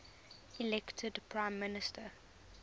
elected prime minister